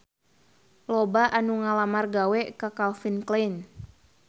Loba anu ngalamar gawe ka Calvin Klein